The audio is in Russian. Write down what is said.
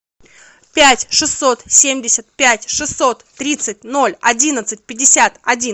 пять шестьсот семьдесят пять шестьсот тридцать ноль одиннадцать пятьдесят один